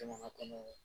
Jamana kɔnɔ